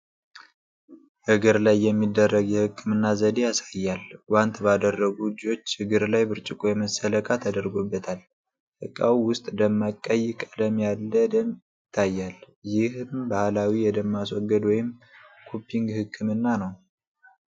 እግር ላይ የሚደረግ የህክምና ዘዴ ያሳያል። ጓንት ባደረጉ እጆች እግር ላይ ብርጭቆ የመሰለ ዕቃ ተደርጎበታል። ዕቃው ውስጥ ደማቅ ቀይ ቀለም ያለ ደም ይታያል። ይህም ባህላዊ የደም ማስወገድ ወይም ኩፒንግ ሕክምና ነው።